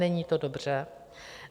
Není to dobře.